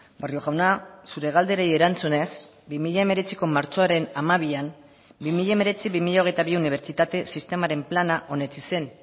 barrio jauna zure galderei erantzunez bi mila hemeretziko martxoaren hamabian bi mila hemeretzi bi mila hogeita bi unibertsitate sistemaren plana onetsi zen